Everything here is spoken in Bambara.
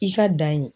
I ka dan ye